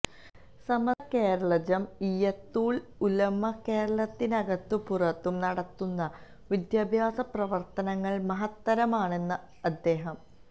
സമസ്ത Kerala Jamiyyathul Ulama കേരളത്തിനകത്തും പുറത്തും നടത്തുന്ന വിദ്യാഭ്യാസ പ്രവർത്തനങ്ങൾ മഹത്തരമാണെന്ന് അദ്ദേഹം